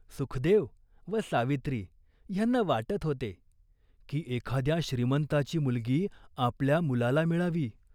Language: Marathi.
सुखदेव व सावित्री ह्यांना वाटत होते, की एखाद्या श्रीमंताची मुलगी आपल्या मुलाला मिळावी.